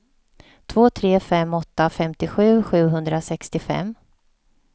två tre fem åtta femtiosju sjuhundrasextiofem